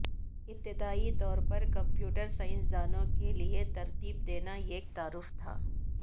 ابتدائی طور پر کمپیوٹر سائنسدانوں کے لئے ترتیب دینا ایک تعارف تھا